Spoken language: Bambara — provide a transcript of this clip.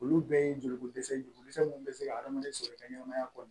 Olu bɛɛ ye joli ko dɛsɛ minnu bɛ se ka hadamaden sɔrɔ i ka ɲɛnamaya kɔnɔ